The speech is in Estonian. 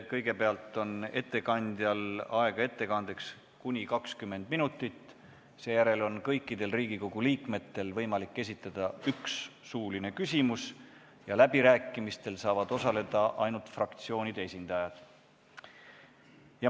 Kõigepealt on ettekandjal ettekandeks aega kuni 20 minutit, seejärel on kõikidel Riigikogu liikmetel võimalik esitada üks suuline küsimus ja läbirääkimistel saavad osaleda ainult fraktsioonide esindajad.